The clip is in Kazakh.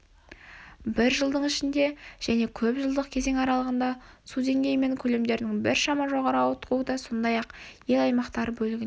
бір жылдың ішінде және көп жылдық кезең аралығындағы су деңгейі мен көлемдерінің біршама жоғары ауытқуы да сондай-ақ ел аймақтары бөлігінде